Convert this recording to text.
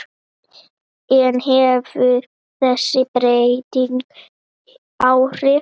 En hefur þessi breyting áhrif?